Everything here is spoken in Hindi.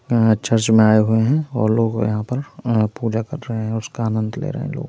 यहाँ चर्च में आये हुए है और लोग यहाँ पर पूजा कर रहे है उसका आनंद ले रहे है लोग।